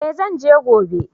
Eh zan je gobe